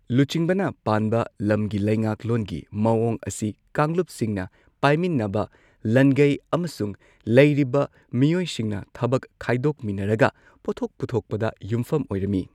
ꯂꯨꯆꯤꯡꯕꯅ ꯄꯥꯟꯕ ꯂꯝꯒꯤ ꯂꯩꯉꯥꯛꯂꯣꯟꯒꯤ ꯃꯋꯣꯡ ꯑꯁꯤ ꯀꯥꯡꯂꯨꯞꯁꯤꯡꯅ ꯄꯥꯏꯃꯤꯟꯅꯕ ꯂꯟꯒꯩ ꯑꯃꯁꯨꯡ ꯂꯩꯔꯤꯕ ꯃꯤꯑꯣꯏꯁꯤꯡꯅ ꯊꯕꯛ ꯈꯥꯏꯗꯣꯛꯃꯤꯟꯅꯔꯒ ꯄꯣꯠꯊꯣꯛ ꯄꯨꯊꯣꯛꯄꯗ ꯌꯨꯝꯐꯝ ꯑꯣꯏꯔꯝꯃꯤ꯫